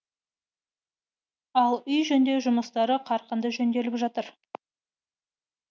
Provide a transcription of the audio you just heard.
ал үй жөндеу жұмыстары қарқынды жөнделіп жатыр